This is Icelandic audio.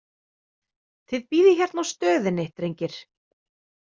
Þið bíðið hérna á stöðinni, drengir.